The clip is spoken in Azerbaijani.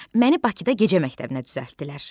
Məni Bakıda gecə məktəbinə düzəltdilər.